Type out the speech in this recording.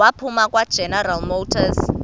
waphuma kwageneral motors